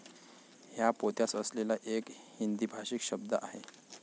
हा पोत्यास असलेला एक हिंदीभाषीक शब्द आहे.